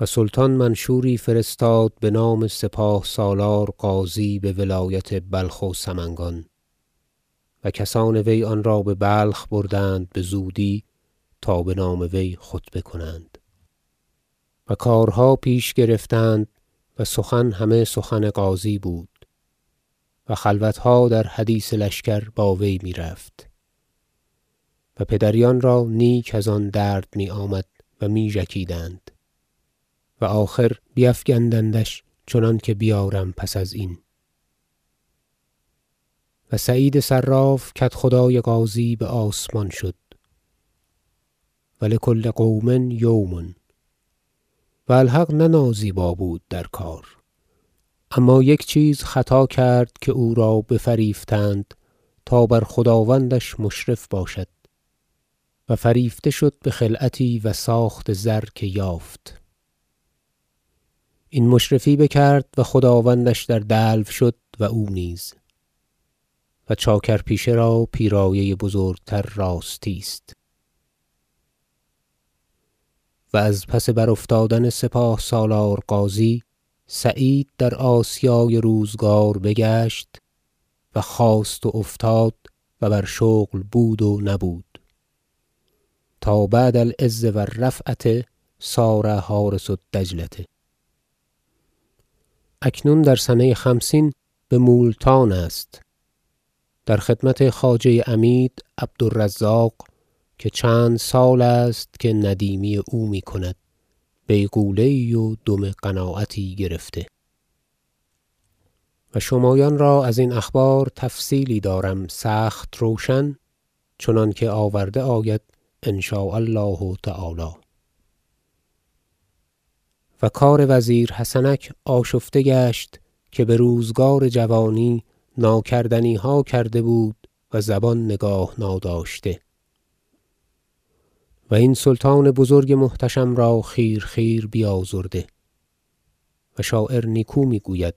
و سلطان منشوری فرستاد بنام سپاه سالار غازی به ولایت بلخ و سمنگان و کسان وی آنرا به بلخ بردند بزودی تا به نام وی خطبه کنند و کارها پیش گرفتند و سخن همه سخن غازی بود و خلوتها در حدیث لشکر با وی میرفت و پدریان را نیک از آن درد میآمد و می ژکیدند و آخر بیفگندندش چنانکه بیارم پس از این و سعید صراف کدخدای غازی به آسمان شد و لکل قوم یوم و الحق نه نازیبا بود در کار اما یک چیز خطا کرد که او را بفریفتند تا بر خداوندش مشرف باشد و فریفته شد به خلعتی و ساخت زر که یافت این مشرفی بکرد و خداوندش در دلو شد و او نیز و چاکرپیشه را پیرایه بزرگتر راستی است و از پس برافتادن سپاه سالار غازی سعید در آسیای روزگار بگشت و خاست و افتاد و بر شغل بود و نبود تا بعد العز و الرفعة صار حارس الدجلة اکنون در سنه خمسین به مولتان است در خدمت خواجه عمید عبدالرزاق که چند سال است که ندیمی او میکند بیغوله و دم قناعتی گرفته و شمایان را ازین اخبار تفصیلی دارم سخت روشن چنانکه آورده آید إن شاء الله تعالی و کار وزیر حسنک آشفته گشت که به روزگار جوانی ناکردنیها کرده بود و زبان نگاه ناداشته و این سلطان بزرگ محتشم را خیرخیر بیازرده و شاعر نیکو میگوید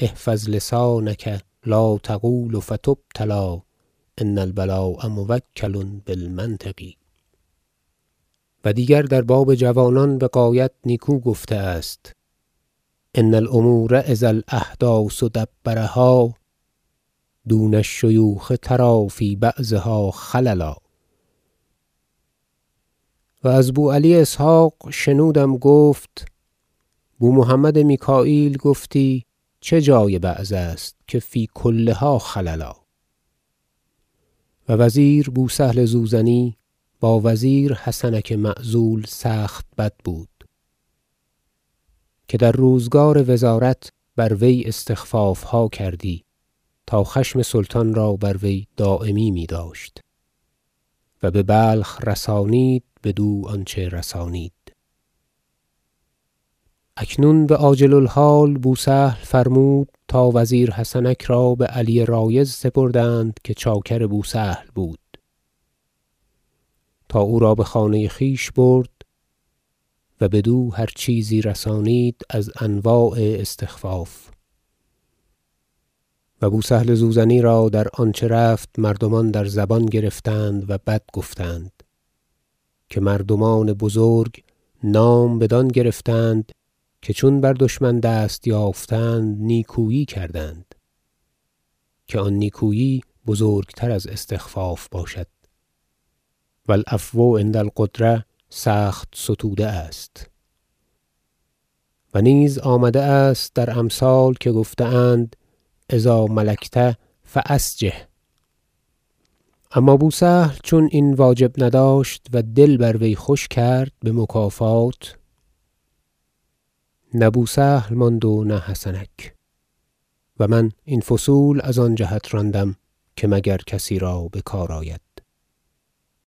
شعر إحفظ لسانک لا تقول فتبتلی إن البلاء موکل بالمنطق و دیگر در باب جوانان بغایت نیکو گفته است شعر إن الأمور إذ الأحداث دبرها دون الشیوخ تری في بعضها خللا و از بوعلی اسحق شنودم گفت بومحمد میکاییل گفتی چه جای بعض است که فی کلها خللا و وزیر بوسهل زوزنی با وزیر حسنک معزول سخت بد بود که در روزگار وزارت بر وی استخفافها کردی تا خشم سلطان را بر وی دایمی میداشت و به بلخ رسانید بدو آنچه رسانید اکنون بعاجل الحال بوسهل فرمود تا وزیر حسنک را به علی رایض سپردند که چاکر بوسهل بود تا او را به خانه خویش برد و بدو هر چیزی رسانید از انواع استخفاف و بوسهل زوزنی را در آنچه رفت مردمان در زبان گرفتند و بد گفتند که مردمان بزرگ نام بدان گرفتند که چون بر دشمن دست یافتند نیکویی کردند که آن نیکویی بزرگتر از استخفاف باشد و العفو عند القدرة سخت ستوده است و نیز آمده است در امثال که گفته اند إذا ملکت فاسجح اما بوسهل چون این واجب نداشت و دل بر وی خوش کرد به مکافات نه بوسهل ماند و نه حسنک و من این فصول از آن جهت راندم که مگر کسی را به کار آید